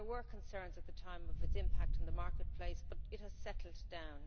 There were concerns at the time about its impact in the marketplace but it has settled down.